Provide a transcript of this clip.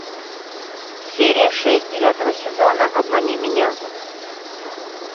серия шесть девятого сезона обмани меня